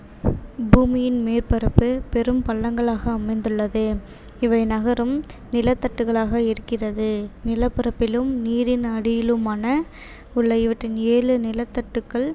பூமியின் மேற்பரப்பு பெரும் பள்ளங்களாக அமைந்துள்ளது இவை நகரும் நிலத்தட்டுக்களாக இருக்கிறது நிலப்பரப்பிலும் நீரின் அடியிலுமான உள்ள இவற்றில் ஏழு நிலத்தட்டுக்கள்